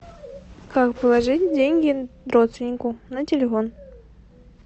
как положить деньги родственнику на телефон